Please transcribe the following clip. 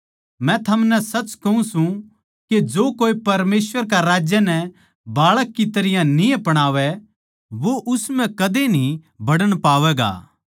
मै थमनै सच कहूँ सूं के जो कोए परमेसवर के राज्य नै बाळक की तरियां न्ही अपणावै वो उस म्ह कदे न्ही बड़न पावैगा